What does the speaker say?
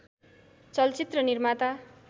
चलचित्र निर्माता